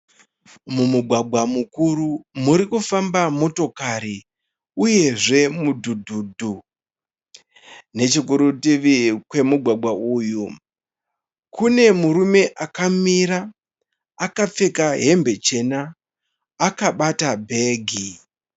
Mumugwagwa mukuru muri kufamba motokari uyezve mudhudhudhu, nechekurutivi kwemugwagwa uyu kune murume akamira akapfeka hembe chena akabata bhegi.